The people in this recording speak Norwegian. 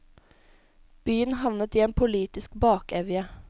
Byen havnet i en politisk bakevje.